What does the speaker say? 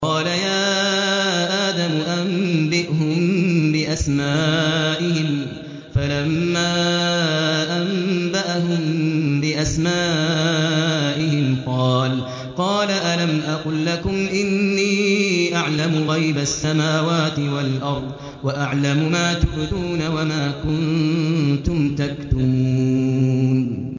قَالَ يَا آدَمُ أَنبِئْهُم بِأَسْمَائِهِمْ ۖ فَلَمَّا أَنبَأَهُم بِأَسْمَائِهِمْ قَالَ أَلَمْ أَقُل لَّكُمْ إِنِّي أَعْلَمُ غَيْبَ السَّمَاوَاتِ وَالْأَرْضِ وَأَعْلَمُ مَا تُبْدُونَ وَمَا كُنتُمْ تَكْتُمُونَ